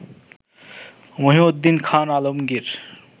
Mohiuddin Khan Alamgir